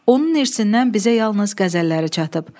Onun irsindən bizə yalnız qəzəlləri çatıb.